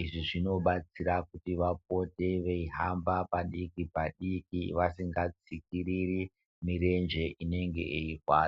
izvi zvinobatsira kuti vapote vahambe padikipadiki vasingatsikiriri murenje inenge yeiyi rwadza .